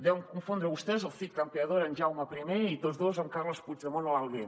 deuen confondre vostès el cid campeador en jaume i i tots dos amb carles puigdemont a l’alguer